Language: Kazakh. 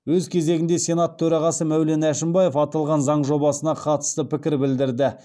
өз кезегінде сенат төрағасы мәулен әшімбаев аталған заң жобасына қатысты пікір білдірді